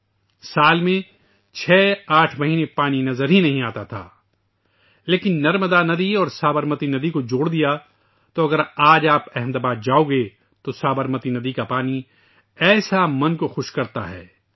ایک سال میں چھ سے آٹھ مہینے تک پانی نظر نہیں آتا تھا ، لیکن نرمدا ندی اور سابرمتی ندی کو جوڑ دیا ، لہذا اگر آپ آج احمد آباد جائیں گے تو سابرمتی ندی کا پانی ذہن کو شاداب کردیتا ہے